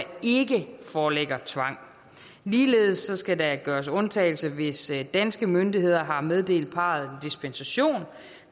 ikke foreligger tvang ligeledes skal der gøres undtagelse hvis danske myndigheder har meddelt parret dispensation